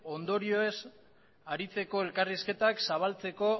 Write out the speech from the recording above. ondorioez aritzeko elkarrizketak zabaltzeko